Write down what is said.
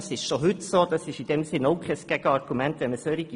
Dem ist bereits heute so, und es ist kein Gegenargument in solchen Fällen.